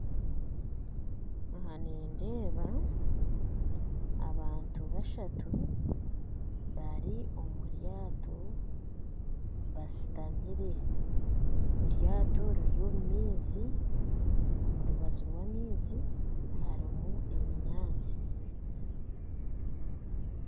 Aha nindeeba abantu bashatu bari omuryato bashutamire eryato riri omu maizi omu rubaju rwamaizi hariho ebinyatsi